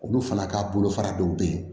Olu fana ka bolofara dɔw bɛ yen